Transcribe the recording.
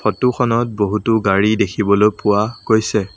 Photo খনত বহুতো গাড়ী দেখিবলৈ পোৱা গৈছে।